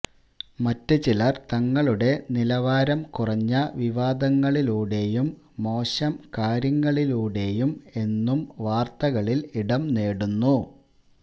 മറ്റ് ചിലർ തങ്ങളുടെ നിലവാരം കുറഞ്ഞ വിവാദങ്ങളിലൂടേയും മോശം കാര്യങ്ങളിലൂടേയും എന്നും വാർത്തകളിൽ ഇടം നേടുന്നു